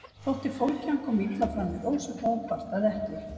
Þótti fólki hann koma illa fram við Rósu þó hún kvartaði ekki.